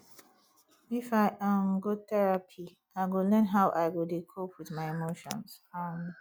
if i um go therapy i go learn how i go dey cope wit my emotions um